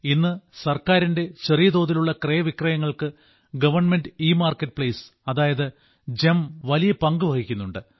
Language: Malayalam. ഇന്ന് സർക്കാരിന്റെ ചെറിയ തോതിലുള്ള ക്രയവിക്രയങ്ങൾക്ക് ഗവൺമെന്റ് ഇമാർക്കറ്റ് പ്ലെയ്സ് അതായത് ഗെം വലിയ പങ്കു വഹിക്കുന്നുണ്ട്